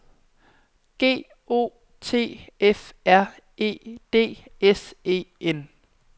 G O T F R E D S E N